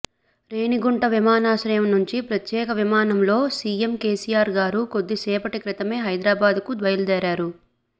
రేణిగుంట విమానాశ్రయం నుంచి ప్రత్యేక విమానంలో సీఎం కేసీఆర్ గారు కొద్దిసేపటి క్రితమే హైదరాబాదుకు బయలుదేరారు